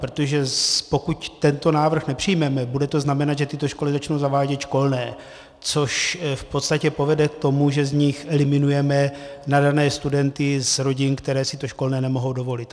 Protože pokud tento návrh nepřijmeme, bude to znamenat, že tyto školy začnou zavádět školné, což v podstatě povede k tomu, že z nich eliminujeme nadané studenty z rodin, které si to školné nemohou dovolit.